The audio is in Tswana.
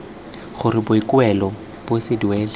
gore boikuelo bo se duelwe